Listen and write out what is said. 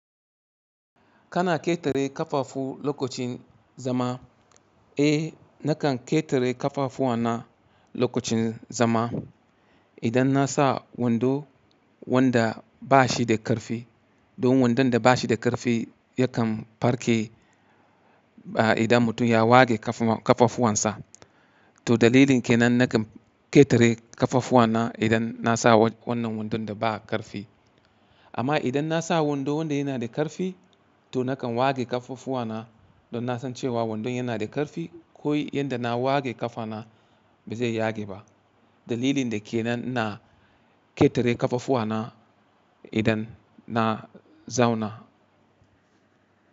Kana ƙetare ƙafafu lokacin zama? Eh nakan ƙetare ƙafafuwa na lokacin zama idan na sa wando wanda ba shi da ƙarfi. Don wandon da ba shi da ƙarfi yakan farke ba idan mutum ya ware ƙafafuwan sa. To dalilin ke nan nakan ƙetare ƙafafuwan na idan na sa wannan wandon da ba ƙarfi. Amma idan na sa wando wanda yana da ƙarfi to nakan wage ƙafafuwan na don na san cewa wandon yana da ƙarfi ko yadda na wage ƙafa na ba zai yage ba. Dalilin da ke nan na ƙetare ƙafafuwan na idan na zauna.